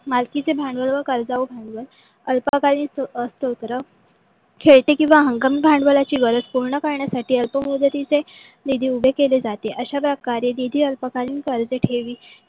मालकीचे भांडवल व कर्जावू भांडवल अल्पकालीन सत्र खेळते किववा हंगामी भांडवलाची गरज पूर्ण करण्यासाठी अल्प मुदतीचे निधी उपलब्ध केले जाते. अश्या प्रकारे निधी अल्पकालीन पर्यन्त ठेवी